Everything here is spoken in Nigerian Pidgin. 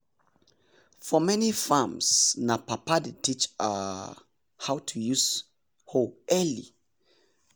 for many farms na papa dey teach um how to use hoe early.